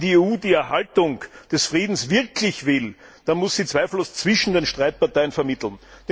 Wenn die EU die Erhaltung des Friedens wirklich will, dann muss sie zweifellos zwischen den Streitparteien vermitteln.